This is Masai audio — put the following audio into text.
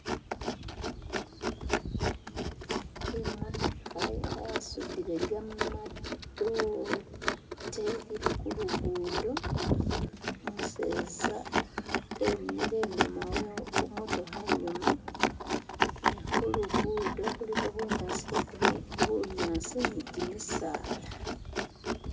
Imotoka yasudile gamadote ili kulugudo umuseza emile inyuma we khumotokha inyuma nekhu lugudo khuliko bunyasi bwagurini bunyasi ni gimisaala